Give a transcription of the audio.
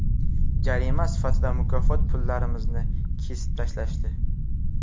Jarima sifatida mukofot pullarimizni kesib tashlashdi.